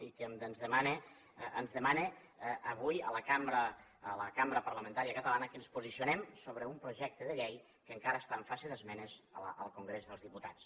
i que ens demana avui a la cambra parlamentària catalana que ens posicionem sobre un projecte de llei que encara està en fase d’esmenes al congrés dels diputats